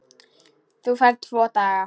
Þú færð tvo daga.